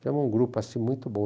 Fizemos um grupo assim, muito bom.